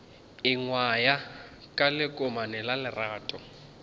ingwaya ka lekomane la lerato